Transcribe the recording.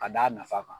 Ka d'a nafa kan